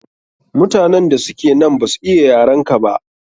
Mutanen da suke nan ba su iya yarenka ba.